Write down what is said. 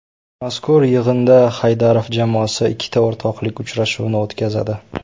Mazkur yig‘inda Haydarov jamoasi ikkita o‘rtoqlik uchrashuvini o‘tkazadi.